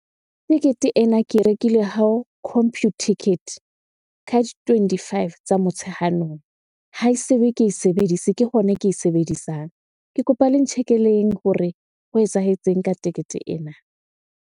Tekete ena ke e rekile ha o Computicket ka di twenty-five tsa Motsheanong. Ha e se be ke e sebedise, ke hona ke e sebedisang. Ke kopa le ntjhekeleng hore ho etsahetseng ka tekete ena?